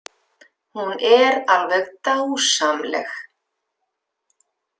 Hún er alveg dásamleg.